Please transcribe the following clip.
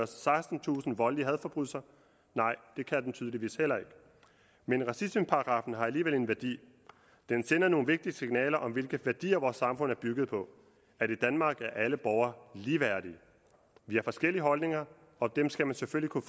sekstentusind voldelige hadforbrydelser nej det kan den tydeligvis heller ikke men racismeparagraffen har alligevel en værdi den sender nogle vigtige signaler om hvilke værdier vores samfund er bygget på i danmark er alle borgere ligeværdige vi har forskellige holdninger og dem skal man selvfølgelig kunne